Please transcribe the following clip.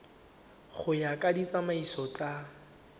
go ya ka ditsamaiso tsa